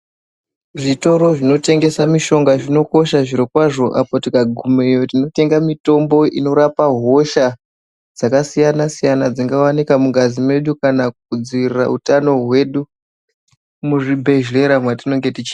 Zvitoro zvinotengesa mishonga zvinokosha, zvirokwazvo apa tikagumeyo tinotenga mitombo inorapa hosha dzakasiyana-siyana dzingawanika mungazi medu. Kana kudzivirira utano hwedu muzvibhehlera mwatinenge tichi...